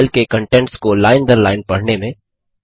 file के contents को line दर लाइन पढने में